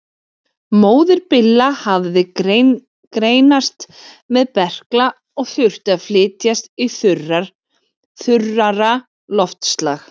Móðir Billa hafði greinst með berkla og þurfti að flytjast í þurrara loftslag.